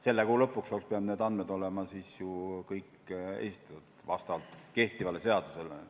Selle kuu lõpuks oleks pidanud need andmed olema siis ju kõik esitatud, kehtiva seaduse järgi.